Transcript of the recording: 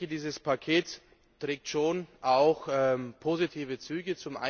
Dieses Paket trägt schon auch positive Züge.